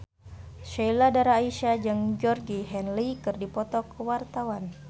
Sheila Dara Aisha jeung Georgie Henley keur dipoto ku wartawan